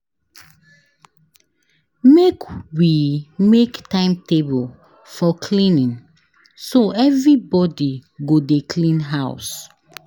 Make we make timetable for cleaning so everybodi go dey clean house.